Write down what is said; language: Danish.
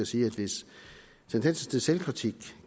sige at hvis tendensen til selvkritik